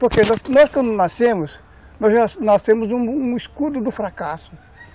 Porque nós, nós quando nascemos, nós nascemos um um escudo do fracasso.